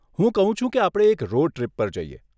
હું કહું છું કે આપણે એક રોડ ટ્રીપ પર જઈએ.